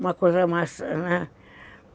Uma coisa mais, né?